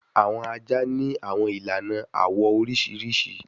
Awọn aja ni awọn ilana awọ oriṣiriṣi